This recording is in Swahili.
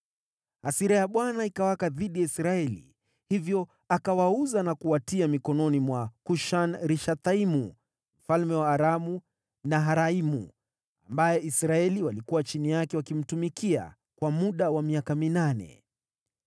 Hasira ya Bwana ikawaka dhidi ya Israeli, hivyo akawauza na kuwatia mikononi mwa Kushan-Rishathaimu mfalme wa Aramu-Naharaimu ambaye Israeli walikuwa chini yake wakimtumikia kwa muda wa miaka minane.